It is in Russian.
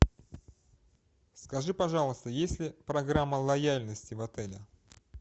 скажи пожалуйста есть ли программа лояльности в отеле